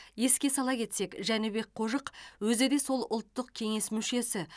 еске сала кетсек жәнібек қожық өзі де сол ұлттық кеңес мүшесі